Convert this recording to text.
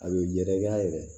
A bɛ yɛrɛkɛ a yɛrɛ ye